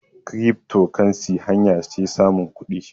kiripto kansi hanya ce samun kudi